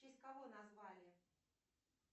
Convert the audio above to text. в честь кого назвали